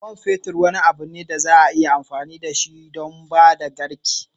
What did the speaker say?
Man fetur wani abu ne da za a iya amfani da shi don ba da karki.